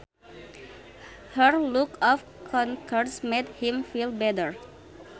Her look of concern made him feel better